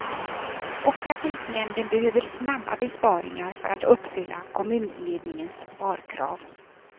Och trafiknämnden behöver snabba besparingar för att uppfylla kommunledningens sparkrav.